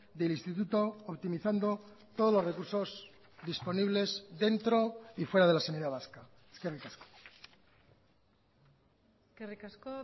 del instituto optimizando todos los recursos disponibles dentro y fuera de la sanidad vasca eskerrik asko eskerrik asko